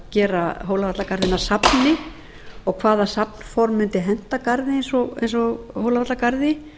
gera hólavallagarði að safni og hvaða safnform mundi henta garði eins og hólavallagarði